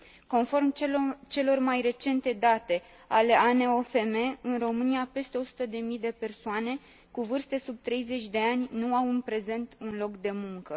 Conform celor mai recente date ale ANOFM, în România, peste o sută de mii de persoane, cu vârste sub 30 de ani, nu au în prezent un loc de muncă.